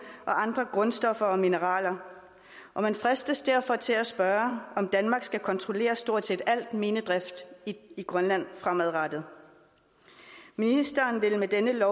og andre grundstoffer og mineraler og man fristes derfor til at spørge om danmark skal kontrollere stort set al minedrift i grønland fremadrettet ministeren vil med dette